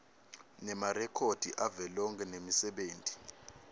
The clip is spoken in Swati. nemarekhodi avelonkhe nemisebenti